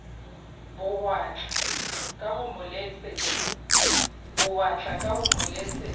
bowatla ka ho mo letsetsa